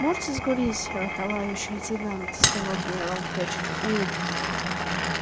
можете закурить товарищ лейтенант сказал генерал прячет улыбку